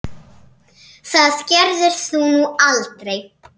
Það gerðir þú nú aldrei.